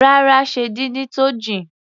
Rárá, ṣe díndín tó jìn.